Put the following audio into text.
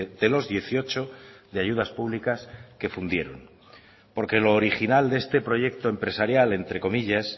de los dieciocho de ayudas públicas que fundieron porque lo original de este proyecto empresarial entre comillas